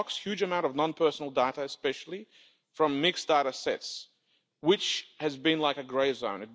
It unlocks a huge amount of non-personal data, especially from mixed data sets, which have been like a grey zone.